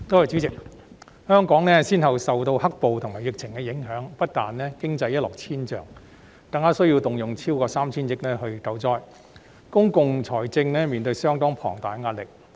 主席，香港先後受"黑暴"及疫情影響，不但經濟一落千丈，更需要動用超過 3,000 億元救災，令公共財政面對相當龐大的壓力。